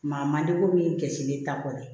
Maa man di ko min kɛsilen ta kɔni